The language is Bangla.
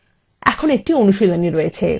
এখন একটি অনুশীলনী রয়েছে